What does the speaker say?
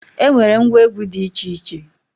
E nwere ngwa egwu dị iche iche